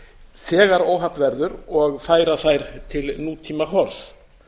þegar óhapp verður og færa þær til nútímahorfs